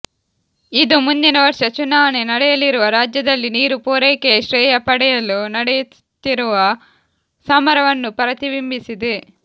ಇದು ಮುಂದಿನ ವರ್ಷ ಚುನಾವಣೆ ನಡೆಯಲಿರುವ ರಾಜ್ಯದಲ್ಲಿ ನೀರು ಪೂರೈಕೆಯ ಶ್ರೇಯ ಪಡೆಯಲು ನಡೆಯುತ್ತಿರುವ ಸಮರವನ್ನು ಪ್ರತಿಬಿಂಬಿಸಿದೆ